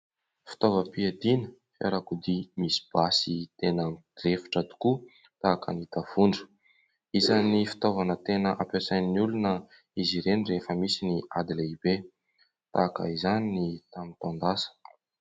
fitaovam-piadiana fiarakodia misy basy tsara rafitra tokoa tahaka ny tafondro izany fitaovana tena ampiasain'ny olona izy ireny rehefa misy ny ady lehibe tahaka izany ny tamin'ny taon-dasa